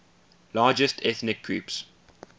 largest ethnic groups